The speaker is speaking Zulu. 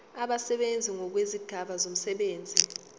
abasebenzi ngokwezigaba zomsebenzi